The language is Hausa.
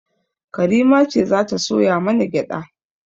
Karima ce za ta soya mana gyaɗa